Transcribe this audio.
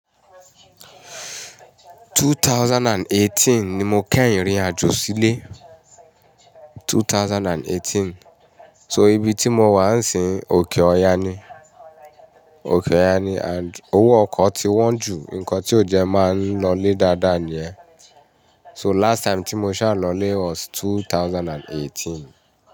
2018 ni mo kẹhin rìn irin àjò sílé. 2018. So ibi tí mo wà ń sin òkè ọya ni, òkè ọya ni and owó ọkọ̀ ti wọ́n ju nǹkan tí ó jẹ́ máa ń lọlé dáadáa ni ẹ́. So last time tí mo ṣà lọlé was 2018.